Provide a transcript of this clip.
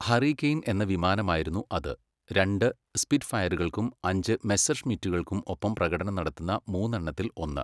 Hurricane എന്ന വിമാനമായിരുന്നു അത്, രണ്ട് സ്പിറ്റ്ഫയറുകൾക്കും അഞ്ച് മെസ്സെർഷ്മിറ്റുകൾക്കും ഒപ്പം പ്രകടനം നടത്തുന്ന മൂന്നെണ്ണത്തിൽ ഒന്ന്.